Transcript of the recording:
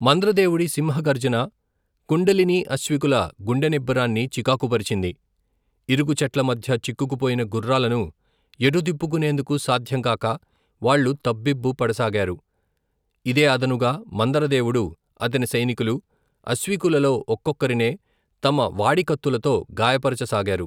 మందర దేవుడి సింహగర్జన కుండలినీ అశ్వికుల గుండె నిబ్బరాన్ని చికాకుపరిచింది ఇరుకు చెట్లమధ్య చిక్కుకుపోయిన గుర్రాలను ఎటు తిప్పుకునేందుకు సాధ్యం కాక వాళ్ళు తబ్బిబ్బు పడసాగారు ఇదే అదనుగా మందరదేవుడు అతని సైనికులు అశ్వికూలలో ఒక్కొక్కరినే తమ వాడి కత్తులతో గాయపరచ సాగారు.